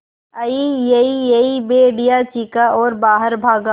अईयईयई भेड़िया चीखा और बाहर भागा